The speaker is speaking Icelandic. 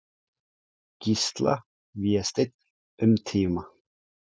Gísla, Vésteinn, um tíma.